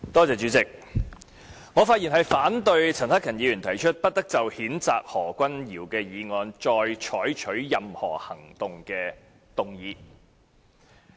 主席，我發言反對陳克勤議員提出，不得就譴責何君堯議員的議案再採取任何行動的議案。